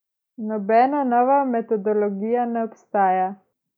Nobena nova metodologija ne obstaja.